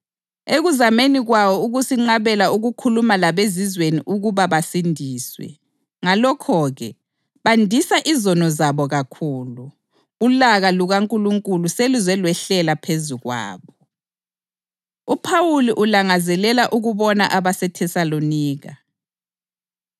ekuzameni kwawo ukusinqabela ukukhuluma labeZizweni ukuba basindiswe. Ngalokho-ke, bandisa izono zabo kakhulu. Ulaka lukaNkulunkulu seluze lwehlela phezu kwabo. UPhawuli Ulangazelela Ukubona AbaseThesalonika